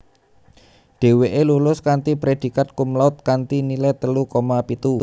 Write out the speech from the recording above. Dheweke lulus kanthi predikat cumlaude kanthi nilai telu koma pitu